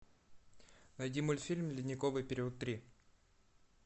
найди мультфильм ледниковый период три